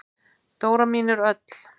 Dóra mín er öll.